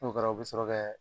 N'o kɛra u bi sɔrɔ kɛ.